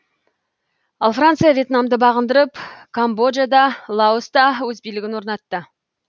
ал франция въетнамды бағындырып камбоджада лаоста өз билігін орнатты